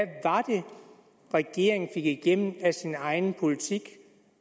regeringen fik igennem af af sin egen politik